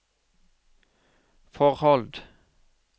forhold